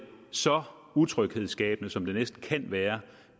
så utryghedsskabende som det næsten kan være